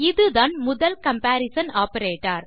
இதுதான் முதல் comparison operator